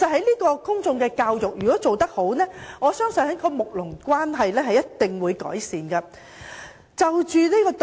如果公眾教育做得好，我相信睦鄰關係一定會改善。